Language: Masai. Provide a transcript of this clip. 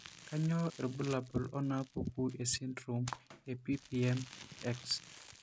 Kainyio irbulabul onaapuku esindirom ePPM X?